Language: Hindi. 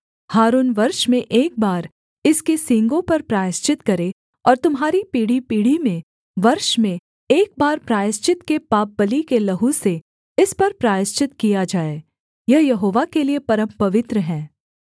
हारून वर्ष में एक बार इसके सींगों पर प्रायश्चित करे और तुम्हारी पीढ़ीपीढ़ी में वर्ष में एक बार प्रायश्चित के पापबलि के लहू से इस पर प्रायश्चित किया जाए यह यहोवा के लिये परमपवित्र है